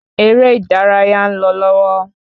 Erè ìdárayá ń lò lọwọ